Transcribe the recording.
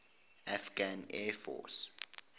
afghan air force